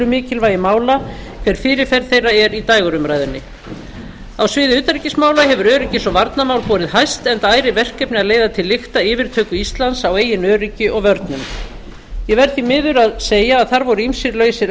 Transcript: mikilvægi mála hver fyrirferð þeirra er í dægurumræðunni á sviði utanríkismála hefur öryggis og varnarmál borið hæst enda ærið verkefni að leiða til lykta yfirtöku íslands á eigin öryggi og vörnum ég verð því miður að segja að þar voru ýmsir lausir